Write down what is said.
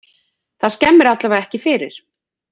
Þetta skemmir allavega ekki fyrir.